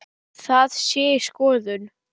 Það sé í skoðun.